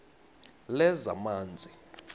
lezamanzi